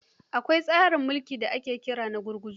Akwai kuma tsarin mulki da ake kira na gurguzu.